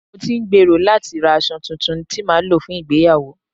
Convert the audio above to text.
Mo ti ń gbèrò láti ra aṣọ tuntun tí màá lò fún ìgbéyàwó